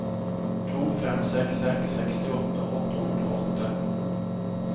to fem seks seks sekstiåtte åtte hundre og åtte